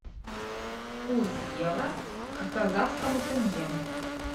курс евро к казахскому тенге